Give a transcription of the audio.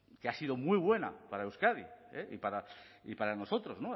que ha sido muy buena para euskadi y para nosotros